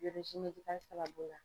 sababu la.